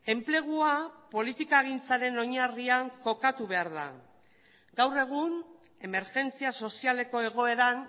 enplegua politikagintzaren oinarrian kokatu behar da gaur egun emergentzia sozialeko egoeran